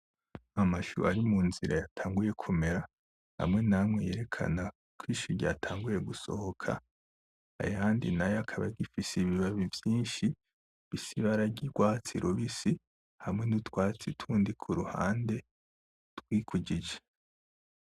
Amashu ari mu nzira yatanguye kumera amwe n'amwe yerekana ko ishu ryatanguye gusohoka ayandi nayo akaba agifise ibibabi vyinshi bifise ibara ry'urwatsi rubisi hamwe n'utwatsi tundi kuruhande twikujije.